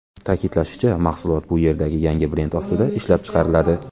Ta’kidlanishicha, mahsulot bu yerda yangi brend ostida ishlab chiqariladi.